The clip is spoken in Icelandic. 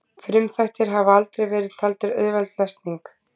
frumþættir hafa aldrei verið taldir auðveld lesning